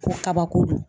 Ko kabako don